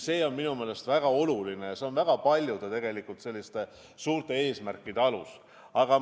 See on minu meelest väga oluline ja väga paljude suurte eesmärkide alus.